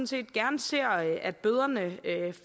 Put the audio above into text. set gerne ser at bøderne